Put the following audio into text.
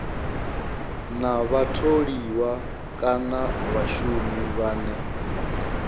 na vhatholiwa kana vhashumi vhane